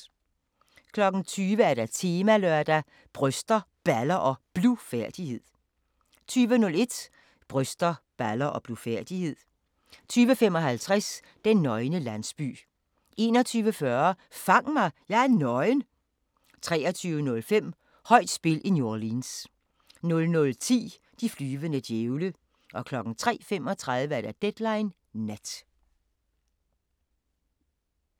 20:00: Temalørdag: Bryster, Baller og Blufærdighed 20:01: Bryster, baller og blufærdighed 20:55: Den nøgne landsby 21:40: Fang mig – jeg er nøgen! 23:05: Højt spil i New Orleans 00:10: De flyvende djævle 03:35: Deadline Nat